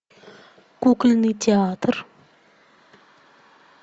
кукольный театр